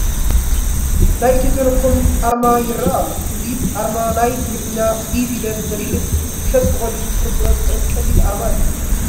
ናይ ኢትዮ ቴለኮም ኣርማ ይርአ ኣሎ፡፡ እዚ ኣርማ ናይ እንግሊዝኛ ኢ ፊደል ዝመስል እዩ፡፡ ሰብ ብቐሊሉ ክርድኦ ዝኽእል ቀሊል ኣርማ እዩ፡፡